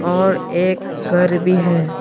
और एक घर भी है।